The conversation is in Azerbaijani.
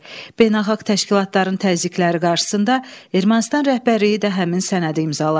Beynəlxalq təşkilatların təzyiqləri qarşısında Ermənistan rəhbərliyi də həmin sənədi imzaladı.